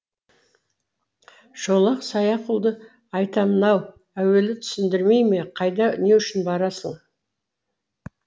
шолақ саяқұлды айтамын ау әуелі түсіндірмей ме қайда не үшін барасың